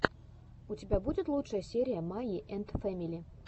у тебя будет лучшая серия майи энд фэмили